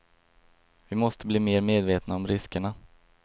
Vi måste bli mer medvetna om riskerna.